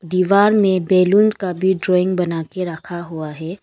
दीवाल में बैलून का भी ड्राइंग बना के रखा हुआ है।